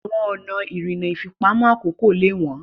Àwọn ọ̀nà ìrìnnà ìfipamọ́ àkókò lè wọ́n.